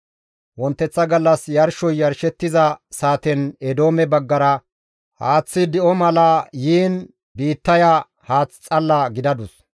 Wonteththa gallas yarshoy yarshettiza saaten Eedoome baggara haaththi di7o mala yiin biittaya haath xalla gidadus.